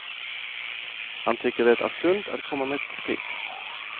Han tycker det är sunt att komma med kritik.